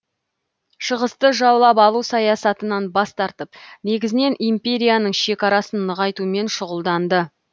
шығысты жаулап алу саясатынан бас тартып негізінен империяның шекарасын нығайтумен шұғылданды